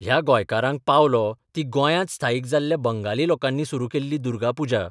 ह्या गोंयकारांक पावलो ती गोंयांत स्थायीक जाल्ल्या बंगाली लोकांनी सुरू केल्ली दुर्गापुजा.